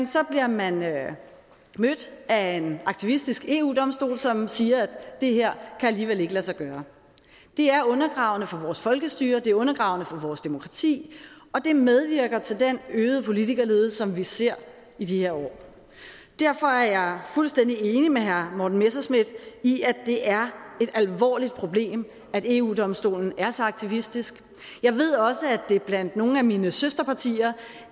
så bliver man mødt af en aktivistisk eu domstol som siger at det her alligevel ikke kan lade sig gøre det er undergravende for vores folkestyre det er undergravende for vores demokrati og det medvirker til den øgede politikerlede som vi ser i de her år derfor er jeg fuldstændig enig med herre morten messerschmidt i at det er et alvorligt problem at eu domstolen er så aktivistisk jeg ved også at det blandt nogle af mine søsterpartier